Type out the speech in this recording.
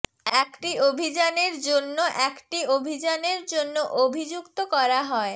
একটি অভিযানের জন্য একটি অভিযানের জন্য অভিযুক্ত করা হয়